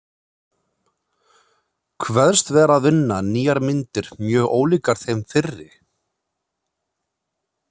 Kveðst vera að vinna nýjar myndir mjög ólíkar þeim fyrri.